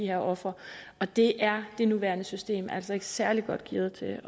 her ofre og det er det nuværende system altså ikke særlig godt gearet til